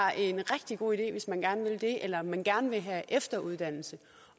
er en rigtig god idé hvis man gerne vil det eller hvis man gerne vil have efteruddannelse